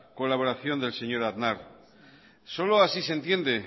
colaboración del señor aznar solo así se entiende